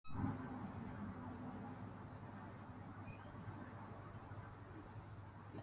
Eftir er að kveðja gestgjafa og halda heim í